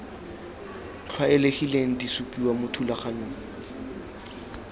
tlwaelegileng di supiwa mo thulaganyong